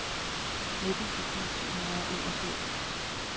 nitten tusind syv hundrede og enogfirs